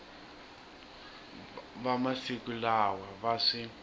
va masiku lawa va swi